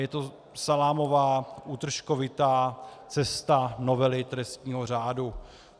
Je to salámová, útržkovitá cesta novely trestního řádu.